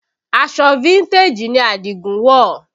Aṣọ fíntèjì ni Adigun wọ̀